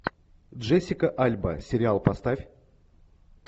джессика альба сериал поставь